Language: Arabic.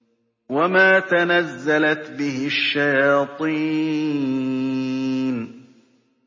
وَمَا تَنَزَّلَتْ بِهِ الشَّيَاطِينُ